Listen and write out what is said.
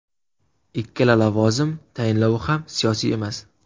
Ikkala lavozim tayinlovi ham siyosiy emas.